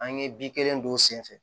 An ye bin kelen don sen fɛ